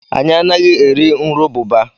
Anyị anaghị eri nrububa.